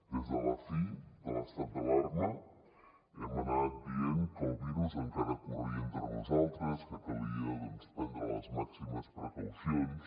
des de la fi de l’estat d’alarma hem anat dient que el virus encara corria entre nosaltres que calia prendre les màximes precaucions